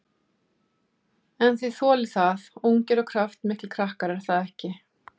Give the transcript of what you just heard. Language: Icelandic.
En þið þolið það, ungir og kraftmiklir krakkar, er það ekki?